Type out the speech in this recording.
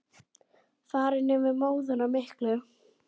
Farin yfir móðuna miklu.